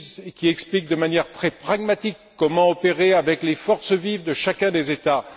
Il explique de manière très pragmatique comment opérer avec les forces vives de chacun des États.